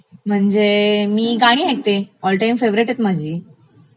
म्हणजे मी गाणी ऐकते..ऑलटाइम फेवरेट आहेत माझी